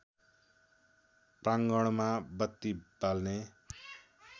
प्राङ्गणमा बत्ती बाल्ने